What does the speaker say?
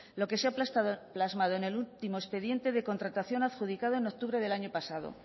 lo que se ha plasmado en el último expediente de contratación adjudicado en octubre del año pasado